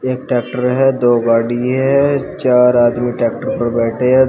एक ट्रैक्टर है दो गाड़ी है चार आदमी ट्रैक्टर पर बैठे हैं दो--